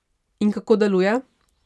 In kako deluje?